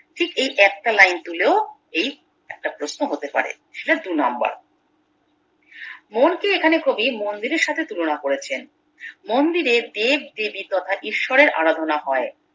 ঠিক এই একটা লাইন তুলেও এই একটা প্রশ্ন হতে পারে সেটা দুই নাম্বার মন কে এখানে কবি মন্দিরের সাথে তুলনা করেছেন মন্দিরে দেবদেবী তথা ঈশ্বরের আরাধনা হয়